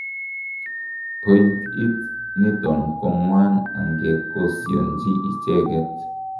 point it niton kongwan angekosionji icheget